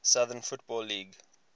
southern football league